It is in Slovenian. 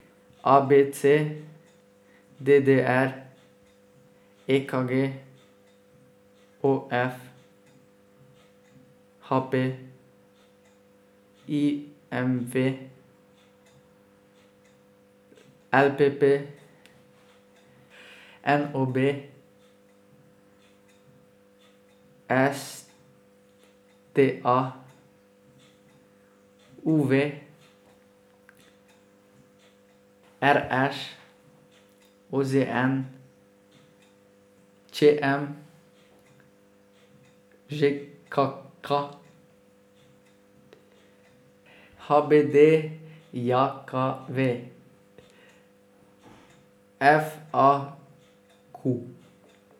A B C; D D R; E K G; O F; H P; I M V; L P P; N O B; S T A; U V; R Š; O Z N; Č M; Ž K K; H B D J K V; F A Q.